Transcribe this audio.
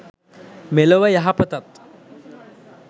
මෙලොව යහපතත්